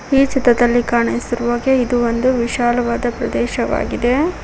ಈ ಚಿತ್ರದಲ್ಲಿ ಕಾಣಿಸಿರುವಾಗೆ ಇದು ಒಂದು ವಿಶಾಲವಾದ ಪ್ರದೇಶವಾಗಿದೆ.